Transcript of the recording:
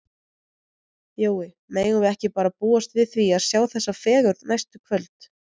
Jói, megum við ekki bara búast við því að sjá þessa fegurð næstu kvöld?